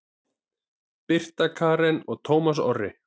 Birta Karen og Tómas Orri.